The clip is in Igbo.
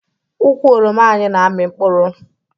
Ukwu oroma anyị na-amị mkpụrụ